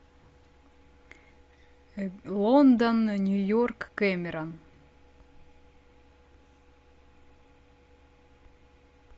лондон нью йорк кэмерон